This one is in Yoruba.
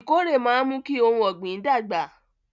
Ìkórè máa ń mú kí ohun ọ̀gbìn dàgbà